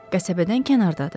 Qəsəbədən kənardadır.